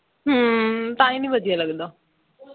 ਹੂ ਤਾਂ ਹੀ ਨਹੀਂ ਵਧੀਆ ਲੱਗਦਾ